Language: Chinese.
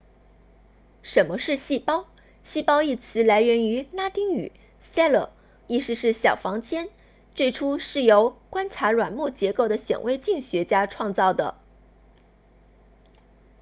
什么是细胞细胞一词来源于拉丁语 cella 意思是小房间最初是由观察软木结构的显微镜学家创造的